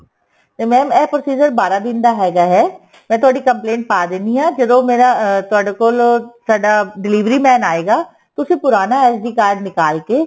ਤੇ mam ਇਹ procedure ਬਾਰਾਂ ਦਿਨ ਦਾ ਹੈਗਾ ਹੈ ਮੈਂ ਤੁਹਾਡੀ complaint ਪਾ ਦਿੰਦੀ ਹਾ ਜਦੋ ਮੇਰਾ ਤੁਹਾਡੇ ਕੋਲ delivery man ਆਏਗਾ ਤੁਸੀਂ ਪੁਰਾਣਾ SD card ਨਿਕਾਲ ਕੇ